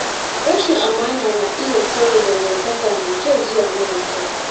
Rashin amana na iya sauya dangantaka mai kyau zuwa mara kyau.